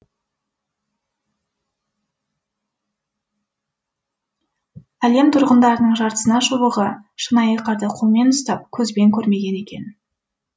әлем тұрғындарының жартысына жуығы шынайы қарды қолмен ұстап көзбен көрмеген екен